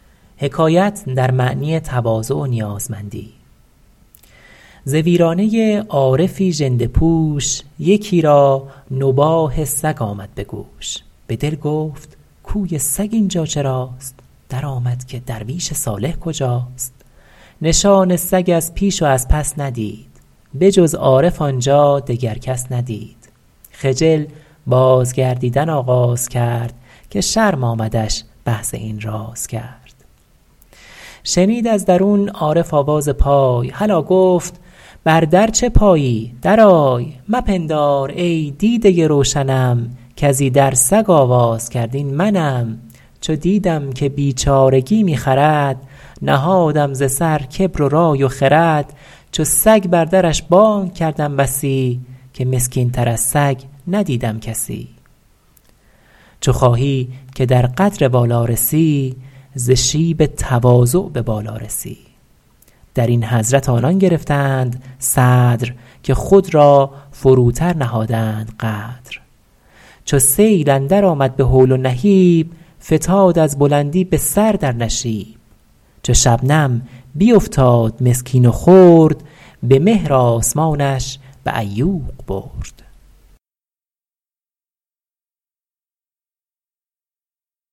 ز ویرانه عارفی ژنده پوش یکی را نباح سگ آمد به گوش به دل گفت گویی سگ اینجا چراست درآمد که درویش صالح کجاست نشان سگ از پیش و از پس ندید به جز عارف آنجا دگر کس ندید خجل باز گردیدن آغاز کرد که شرم آمدش بحث این راز کرد شنید از درون عارف آواز پای هلا گفت بر در چه پایی در آی مپندار ای دیده روشنم کز ایدر سگ آواز کرد این منم چو دیدم که بیچارگی می خرد نهادم ز سر کبر و رای و خرد چو سگ بر درش بانگ کردم بسی که مسکین تر از سگ ندیدم کسی چو خواهی که در قدر والا رسی ز شیب تواضع به بالا رسی در این حضرت آنان گرفتند صدر که خود را فروتر نهادند قدر چو سیل اندر آمد به هول و نهیب فتاد از بلندی به سر در نشیب چو شبنم بیفتاد مسکین و خرد به مهر آسمانش به عیوق برد